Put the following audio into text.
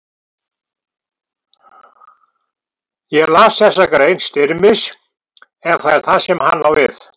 Ég las þessa grein Styrmis, ef það er það sem hann á við.